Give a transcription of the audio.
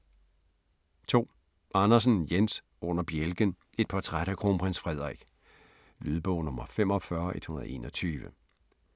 2. Andersen, Jens: Under bjælken: et portræt af Kronprins Frederik Lydbog 45121